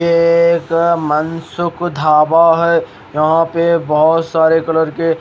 एक मनसुक धाबा है यहां पे बहुत सारे कलर के--